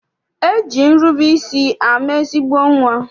E ji nrube isi ama ezigbo nnwa.